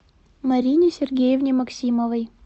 марине сергеевне максимовой